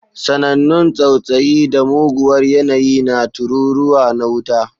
Sanannun tsautsayi da muguwar yanayi na tururuwa na wuta.